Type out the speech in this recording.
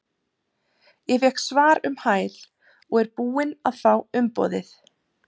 Ég fékk svar um hæl og er búinn að fá umboðið.